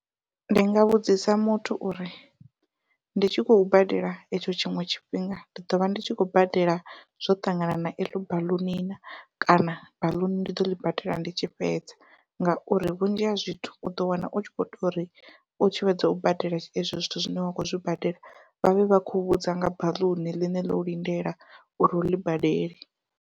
Ndi nga vhudzisa muthu uri ndi tshi khou badela etsho tshiṅwe tshifhinga ndi ḓovha ndi tshi khou badela zwo ṱangana na eḽo baḽuni na kana baḽuni ndi ḓo ḽi badela ndi tshi fhedza, ngauri vhunzhi ha zwithu uḓo wana u tshi kho to ri u tshi fhedza u badela ezwo zwithu zwine wa kho zwi badela vhavhe vha khou vhudza nga baḽuni ḽine ḽo lindela uri u ḽi badele.